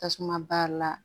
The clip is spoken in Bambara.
Tasuma bari la